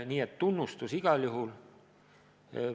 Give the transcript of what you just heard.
Nii et tunnustus igal juhul.